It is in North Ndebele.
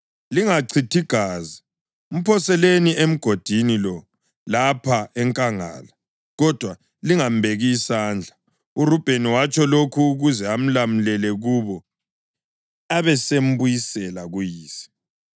Lingachithi gazi. Mphoseleni emgodini lo lapha enkangala, kodwa lingambeki isandla.” URubheni watsho lokhu ukuze amlamulele kubo abesembuyisela kuyise.